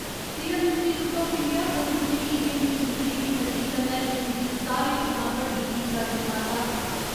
serum institute of India Covid उन्नी टीकें दी गिनतरी दी नजरी कन्नै विश्व दी सारें थमां बड्डी टीका निर्माता